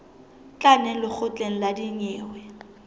tla neng lekgotleng la dinyewe